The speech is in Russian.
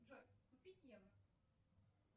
джой купить евро